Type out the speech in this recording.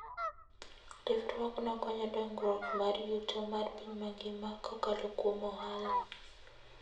Riwruogno konyo dongruok mar yuto mar piny mangima kokalo kuom ohala.